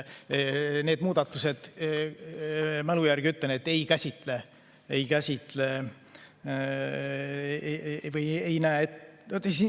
Need muudatused, mälu järgi ütlen, ei käsitle seda.